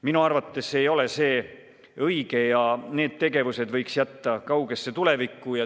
Minu arvates ei ole see õige ja need tegevused võiks jätta kaugesse tulevikku.